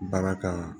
Baara kan